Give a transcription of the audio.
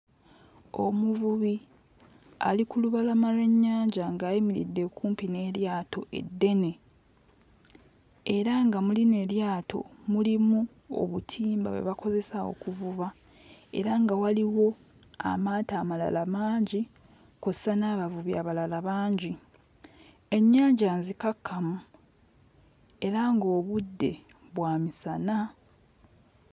Omuvubi ali ku lubalama lw'ennyanja ng'ayimiridde kumpi n'eryato eddene era nga mu lino eryato mulimu obutimba bwe bakozesa okuvuba era nga waliwo amaato amalala mangi kw'ossa n'abavubi abalala bangi. Ennyanja nzikakkamu era ng'obudde bwa musana.